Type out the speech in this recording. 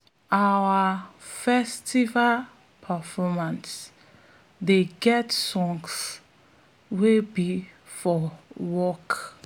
our festival performance dey get songs wey be for work